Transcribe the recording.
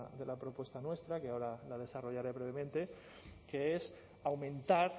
de la propuesta nuestra que ahora la desarrollaré brevemente que es aumentar